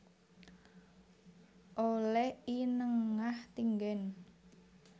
Oleh I Nengah Tinggen